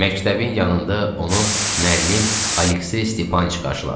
Məktəbin yanında onu müəllim Aleksey Stepanıç qarşıladı.